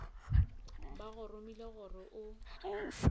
ba go romile gore o